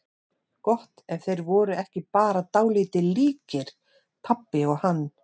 Gott ef þeir voru ekki bara dálítið líkir, pabbi og hann.